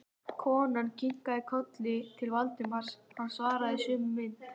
Konan kinkaði kolli til Valdimars, hann svaraði í sömu mynt.